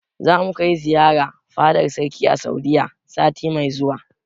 Zamu kai ziyara fadar sarki a Saudiyya sati mai zuwa.